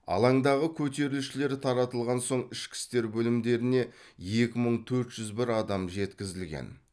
алаңдағы көтерілісшілер таратылған соң ішкі істер бөлімдеріне екі мың төрт жүз бір адам жеткізілген